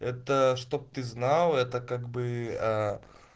это чтоб ты знал это как бы ээ